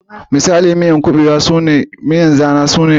Misalan miyan zana su ne kubewa, obono, banga da miyan oha